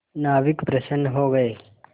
नाविक प्रसन्न हो गए